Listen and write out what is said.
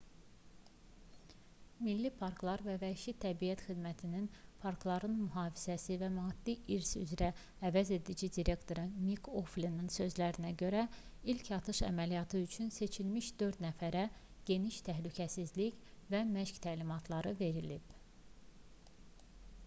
milli parklar və vəhşi təbiət xidmətinin parkların mühafizəsi və maddi i̇rs üzrə əvəzedici direktoru mik oflinin sözlərinə görə ilk atış əməliyyatı üçün seçilmiş dörd nəfərə geniş təhlükəsizlik və məşq təlimatları verilib